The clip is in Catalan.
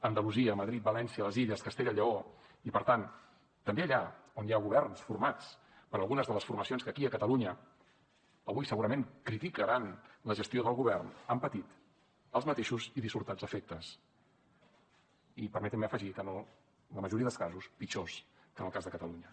andalusia madrid valència les illes castella i lleó i per tant també allà on hi ha governs formats per algunes de les formacions que aquí a catalunya avui segurament criticaran la gestió del govern han patit els mateixos i dissortats efectes i permetin me afegir que en la majoria dels casos pitjors que en el cas de catalunya